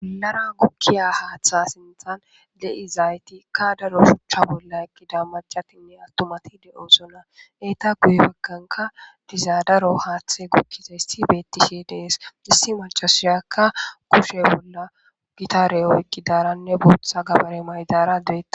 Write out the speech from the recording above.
Bollara gukkiya haaththa sinthan de7izaytika daro shuchcha bolla ekkida macatinne attumati de7osona. Eeta guye baganka diza daro haaththe gukkizayssi beettishe dees. Issi maccasiyakka kushe bolla gitare oyqidaranne bootha gabare maydara de7awus.